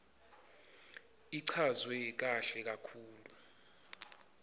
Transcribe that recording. ichazwe kahle kakhulu